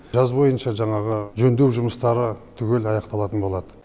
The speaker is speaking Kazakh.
жаз бойынша жаңағы жөндеу жұмыстары түгел аяқталатын болады